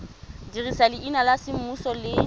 dirisa leina la semmuso le